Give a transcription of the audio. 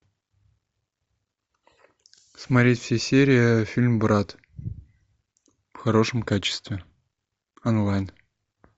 смотреть все серии фильм брат в хорошем качестве онлайн